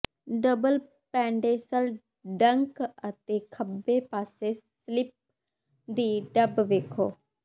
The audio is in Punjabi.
ਡਬਲ ਪੈਡੈਸਲ ਡੰਕ ਅਤੇ ਖੱਬੇ ਪਾਸੇ ਸਿਲਪ ਦੀ ਟੱਬ ਵੇਖੋ